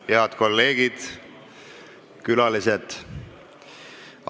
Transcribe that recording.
Tere hommikust, head kolleegid ja külalised!